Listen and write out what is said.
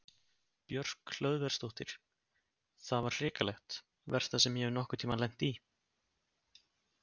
Björk Hlöðversdóttir: Það var hrikalegt, versta sem ég hef nokkur tímann lent í?